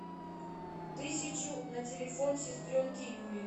тысячу на телефон сестренке юле